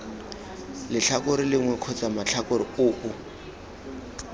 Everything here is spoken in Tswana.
letlhakore lengwe kgotsa matlhakore oo